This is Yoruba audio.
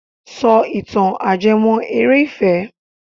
Sọ ìtàn ajẹ́mọ́- eré ìfẹ́!